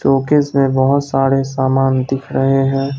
Showcase में बहोत सारे सामान दिख रहे हैं।